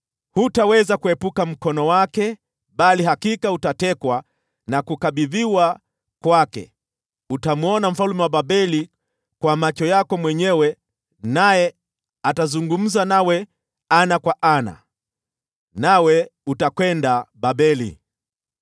Hutaweza kuepuka mkono wake, bali hakika utatekwa na kukabidhiwa kwake. Utamwona mfalme wa Babeli kwa macho yako mwenyewe, naye atazungumza nawe ana kwa ana. Nawe utakwenda Babeli.